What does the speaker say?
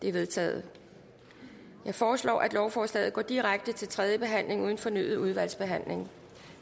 er vedtaget jeg foreslår at lovforslaget går direkte til tredje behandling uden fornyet udvalgsbehandling